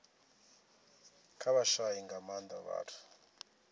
kha vhashai nga maanda vhathu